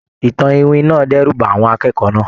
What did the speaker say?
Ìtàn iwin náà dẹ́rù ba àwọn akẹ́kọ̀ọ́ náà.